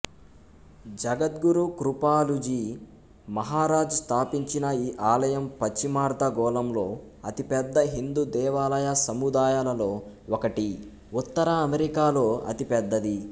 జగద్గురు కృపాలూజీ మహరాజ్ స్థాపించిన ఈ ఆలయం పశ్చిమార్ధగోళంలో అతిపెద్ద హిందూ దేవాలయ సముదాయాలలో ఒకటి ఉత్తర అమెరికాలో అతిపెద్దది